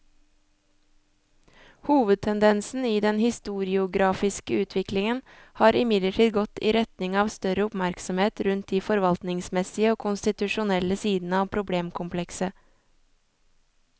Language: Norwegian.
Hovedtendensen i den historiografiske utviklingen har imidlertid gått i retning av større oppmerksomhet rundt de forvaltningsmessige og konstitusjonelle sidene av problemkomplekset.